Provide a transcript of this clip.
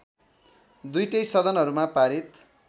दुईटै सदनहरूमा पारित